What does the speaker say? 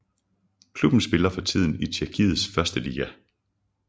Klubben spiller for tiden i Tjekkiets første liga